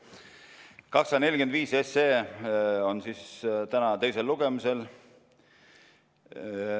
Eelnõu 245 on siis täna teisel lugemisel.